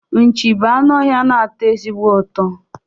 Nchi bụ anụ ọhịa na-atọ ezigbo ụtọ